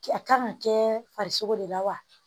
A kan ka kɛ farisogo de la wa